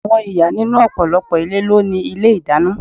Àwọn ìyá nínú ọ̀pọ̀lọpọ̀ ilé ló ni ilé ìdáná.